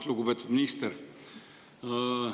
Lugupeetud minister!